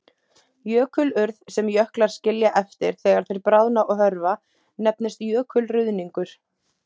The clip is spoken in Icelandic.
Jökulurð, sem jöklar skilja eftir þegar þeir bráðna og hörfa, nefnist jökulruðningur.